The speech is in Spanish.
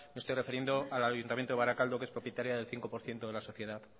me estoy refiriendo al ayuntamiento de barakaldo que es propietario del cinco por ciento de la sociedad